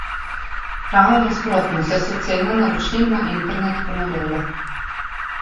Ravno nasprotno, saj so cene naročnin na internet ponorele.